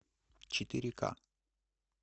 четыре ка